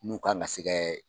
N'u kan ka sɛ kɛ